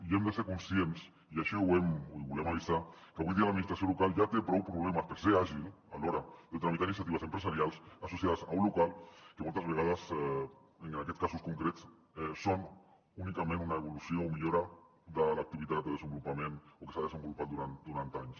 i hem de ser conscients i així ho volem avisar que avui dia l’administració local ja té prou problemes per ser àgil a l’hora de tramitar iniciatives empresarials associades a un local que moltes vegades en aquests casos concrets són únicament una evolució o millora de l’activitat que s’ha desenvolupat durant anys